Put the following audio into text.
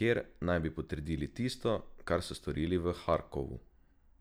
kjer naj bi potrdili tisto, kar so storili v Harkovu.